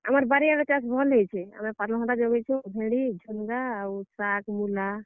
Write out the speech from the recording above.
ଆମର୍ ବାରିଆଡର୍ ଚାଷ୍ ଭଲ୍ ହେଇଛେ। ଆମେ ପାତଲ୍ ଘଣ୍ଟା ଜଗେଇଛୁଁ, ଭେଣ୍ଡି ,ଝୁନଗା ଆଉ ଶାଗ୍, ମୁଲା।